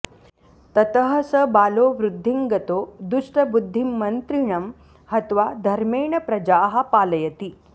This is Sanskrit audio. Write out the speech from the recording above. ततः स बालो वृद्धिं गतो दुष्टबुद्धिं मन्त्रिणं हत्वा धर्मेण प्रजाः पालयति